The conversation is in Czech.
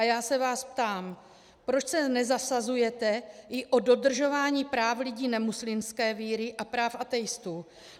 A já se vás ptám, proč se nezasazujete i o dodržování práv lidí nemuslimské víry a práv ateistů?